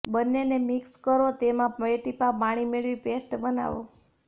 બન્નેને mix કરોતેમાં બે ટીપા પાણી મેળવી પેસ્ટ બનાવો